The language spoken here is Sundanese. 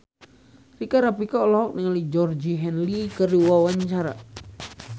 Rika Rafika olohok ningali Georgie Henley keur diwawancara